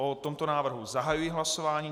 O tomto návrhu zahajuji hlasování.